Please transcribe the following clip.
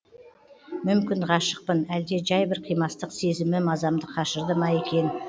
мүмкін ғашықпын әлде жай бір қимастық сезімі мазамды қашырды ма екен